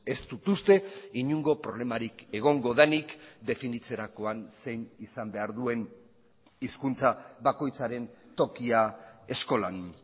ez dut uste inongo problemarik egongo denik definitzerakoan zein izan behar duen hizkuntza bakoitzaren tokia eskolan